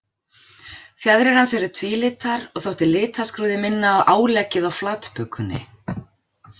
Fjaðrir hans eru tvílitar og þótti litaskrúðið minna á áleggið á flatbökunni.